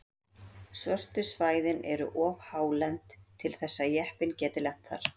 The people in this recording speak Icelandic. Svörtu svæðin eru of hálend til þess að jeppinn geti lent þar.